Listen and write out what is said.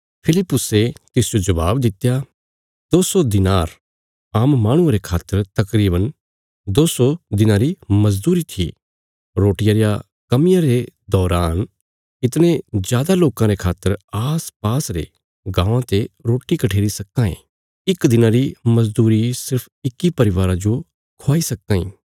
फिलिप्पुसे तिसजो जबाब दित्या दो सौ दिनार आम माहणुये रे खातर तकरीवन दो सौ दिनां री मजदूरी थी रोटिया रिया कमिया रे दौरान इतणे जादा लोकां रे खातर आसपास रे गाँवां ते रोटी कठेरी सक्कां ये इक दिना री मजदूरी सिर्फ इक्की परिवारा जो ख्वाई सक्कां इ